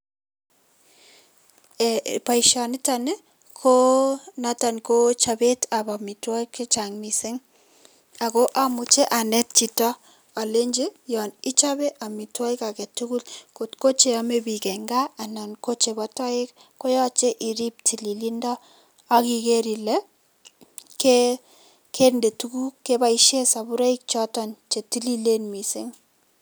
Boishoniton ko noton ko chobeetab amitwokik chechang mising, akoo amuche aneet chito mising alenchi yon ichobe amitwokik aketukul kot ko cheome biik en kaa anan ko chebo toek koyoche iriib tililindo akikeer ilee kendee tukuk keboishen soburoik choton chetililen mising.